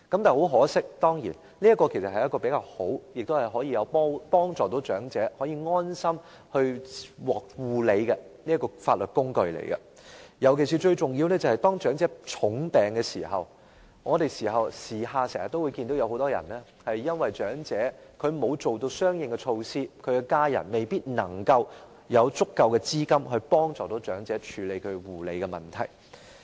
這當然是較好及能夠在護理安排上使長者安心的法律工具，尤其是當長者患重病時，我們經常看到很多長者由於沒有作出相應措施，其家人又未必有足夠資金幫助長者處理其護理的問題。